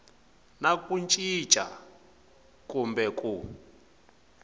na ku cinca kumbe ku